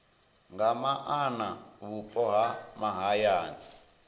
nga maana vhupo ha mahayani